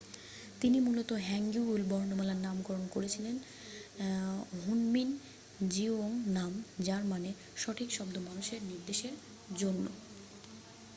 "তিনি মূলত হ্যাঙ্গিউল বর্ণমালার নামকরণ করেছিলেন হুনমিন জিওংনাম যার মানে "সঠিক শব্দ মানুষের নির্দেশের জন্য।""